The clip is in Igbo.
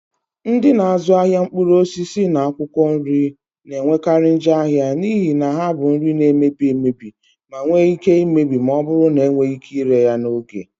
Ndị na-azụ ahịa mkpụrụ osisi na akwụkwọ nri na-enwekarị njọ ahịa n'ihi na ha bụ nri na-emebi emebi ma nwee ike imebi ma ọ bụrụ na enweghị ike ire ha n'oge